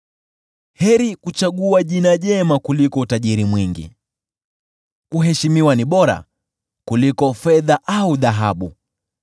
Heri kuchagua jina jema kuliko utajiri mwingi, kuheshimiwa ni bora kuliko fedha au dhahabu.